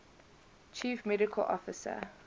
chief medical officer